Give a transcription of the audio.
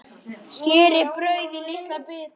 Skerið brauðið í litla bita.